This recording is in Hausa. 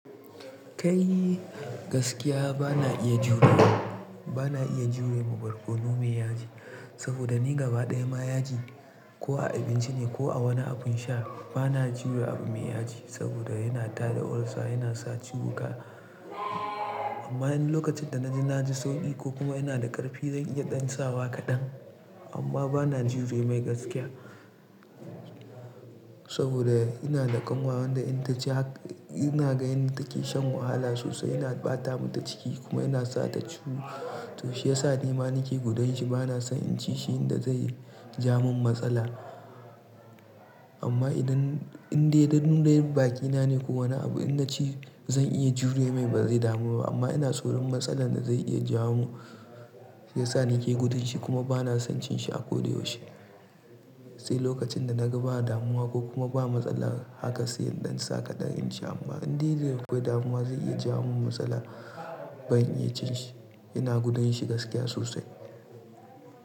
Kai gaskiya bana iya jurewa, bana iya jurewa barkono me yaji. Saboda ni gaba ɗaya ma yaji ko a abinci ne ko a wani abin sha bana jure abin me yaji. Saboda yana tada ulcer yana sa ciwuka. Amma idan lokacin da naji na ji sauƙi ko kuma yana da ƙarfi zan iya ɗan sawa kaɗan. Amma bana jure mai gaskiya. Saboda ina da ƙanwar wanda ina taji hak-- ina ga in take shan wahala sosai yana ɓata mata ciki kuma yana sa ta ciwo. To shi yasa nima nake gudun shi bana son in ci shi yanda zai ja mun matsala. Amma idan, in dai daddun rayuwar baƙi na ne ko wani abu ina ci zan iya jure mai ba zai damu ba. Amma ina tsoron matsala da zai iya ja mu, sai sa ni ke gudun shi kuma bana son cin shi a ko da yaushe. Sai lokacin da naga ba damuwa ko kuma ba matsala haka sai in ɗan sa kaɗan in ci amma in dai zai kai damuwa zai iya ja mun matsala, bai iya cin shi. Ina gudun shi gaskiya sosai.